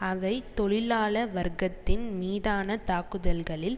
அவை தொழிலாள வர்க்கத்தின் மீதான தாக்குதல்களில்